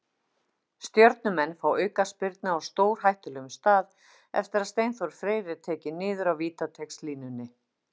Stjörnumenn fá aukaspyrnu á stórhættulegum stað eftir að Steinþór Freyr er tekinn niður á vítateigslínunni.